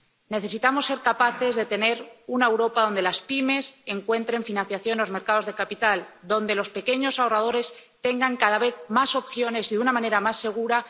Necesitamos ser capaces de tener una Europa donde las pymes encuentren financiación en los mercados de capitales, donde los pequeños ahorradores tengan cada vez más opciones de inversión y de una manera más segura.